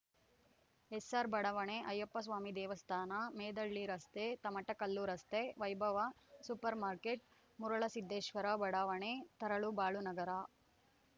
ಎಸ್‌ಆರ್‌ಬಡಾವಣೆ ಅಯ್ಯಪ್ಪಸ್ವಾಮಿ ದೇವಸ್ಥಾನ ಮೆದೇಹಳ್ಳಿ ರಸ್ತೆ ತಮಟಕಲ್ಲು ರಸ್ತೆ ವೈಭವ ಸೂಪರ್‌ ಮಾರ್ಕೆಟ್‌ ಮರುಳಸಿದ್ದೇಶ್ವರ ಬಡಾವಣೆ ತರಳಬಾಳುನಗರ